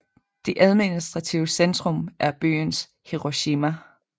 Det administrative centrum er byen Hiroshima